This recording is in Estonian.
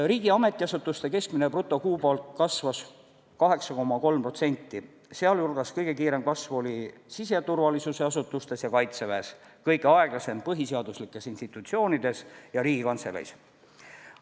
Riigi ametiasutuste keskmine brutokuupalk kasvas 8,3%, sealhulgas kõige kiirem kasv oli siseturvalisuse asutustes ja Kaitseväes, kõige aeglasem põhiseaduslikes institutsioonides ja Riigikantseleis.